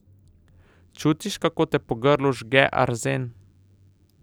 Čutiš, kako te po grlu žge arzen?